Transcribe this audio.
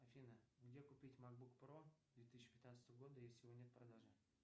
афина где купить макбук про две тысячи пятнадцатого года если его нет в продаже